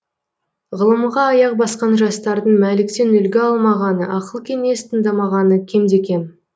ғылымға аяқ басқан жастардың мәліктен үлгі алмағаны ақыл кеңес тыңдамағаны кемде кем